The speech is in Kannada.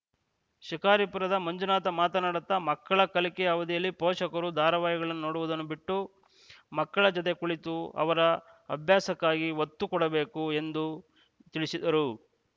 ಶಿಕಾರಿಪುರದ ಮಂಜುನಾಥ್‌ ಮಾತನಾಡುತ್ತ ಮಕ್ಕಳ ಕಲಿಕೆಯ ಅವಧಿಯಲ್ಲಿ ಪೋಷಕರು ಧಾರಾವಾಹಿಗಳನ್ನುನೊಡುವುದನ್ನು ಬಿಟ್ಟು ಮಕ್ಕಳ ಜೊತೆಯಲ್ಲಿ ಕುಳಿತು ಅವರ ಅಭ್ಯಾಸಕ್ಕೆ ಒತ್ತು ಕೊಡಬೇಕು ಎಂದು ತಿಳಿಸಿದರು